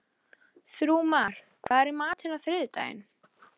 Þrúðmar, hvað er í matinn á þriðjudaginn?